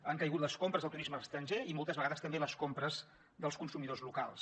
han caigut les compres del turisme estranger i moltes vegades també les compres dels consumidors locals